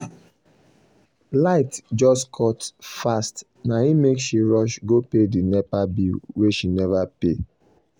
light just cut fast na im make she rush go pay the nepa bill wey she never pay.